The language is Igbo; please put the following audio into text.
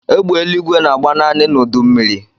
Egbe eluigwe na-agba naanị n'udu mmiri.